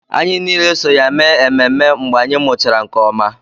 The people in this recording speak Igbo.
Anyị niile so ya mee ememme mgbe anyị mụchara nke ọma